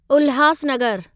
उल्हासनगरु